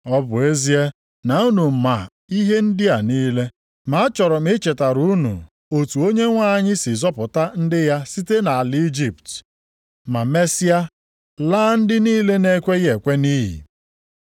Ọ bụ ezie na unu maa ihe ndị a niile, ma achọrọ m ichetara unu otu Onyenwe anyị si zọpụta ndị ya site nʼala Ijipt, ma mesịa laa ndị niile na-ekweghị ekwe nʼiyi.